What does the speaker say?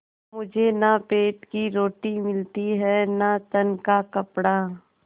मुझे न पेट की रोटी मिलती है न तन का कपड़ा